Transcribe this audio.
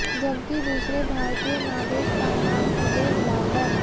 जबकि दूसरे भारतीय नागरिक का नाम उवैद लाल है